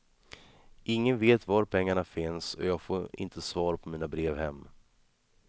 Ingen vet var pengarna finns och jag får inte svar på mina brev hem.